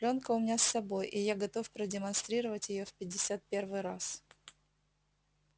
плёнка у меня с собой и я готов продемонстрировать её в пятьдесят первый раз